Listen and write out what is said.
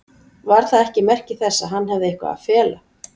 Var það ekki merki þess að hann hefði eitthvað að fela?